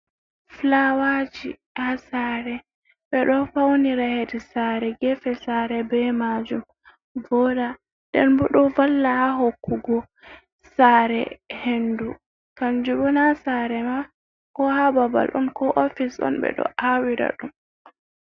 Fulawaji ha sare. Ɓe ɗo faunira heɗi sare gefe sare be majum voda den bo ɗo valla ha hokkugo sare henɗu kanjum bona sare ma ko ha babal ɗon ko ofis on ɓe ɗo awira ɗum.